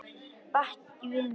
Baki við mér?